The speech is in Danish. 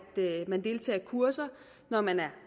man deltager i kurser når man er